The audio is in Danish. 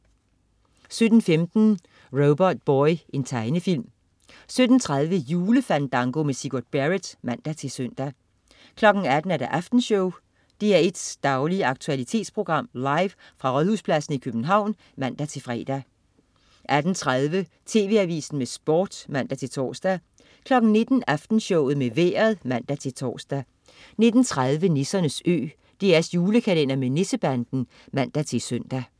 17.15 Robotboy. Tegnefilm 17.30 Julefandango med Sigurd Barrett (man-søn) 18.00 Aftenshowet. DR1's daglige aktualitetsprogram, live fra Rådhuspladsen i København (man-fre) 18.30 TV Avisen med Sport (man-tors) 19.00 Aftenshowet med Vejret (man-tors) 19.30 Nissernes Ø. DR's julekalender med Nissebanden (man-søn)